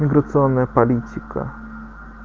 миграционная политика